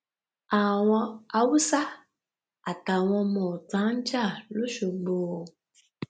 àwọn haúsá àtàwọn ọmọọta ń jà loṣogbó